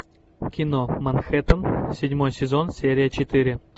кино манхэттен седьмой сезон серия четыре